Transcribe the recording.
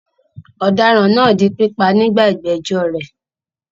Ọ̀daràn náà di pípa nígbà ìgbẹ́jọ́ rẹ̀.